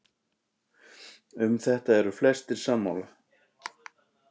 Um þetta eru flestir sammála.